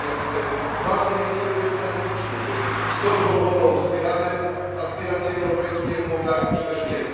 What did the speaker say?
Natomiast ważny jest kierunek strategiczny czy z dobrą wolą wspieramy aspiracje europejskie Mołdawii, czy też nie.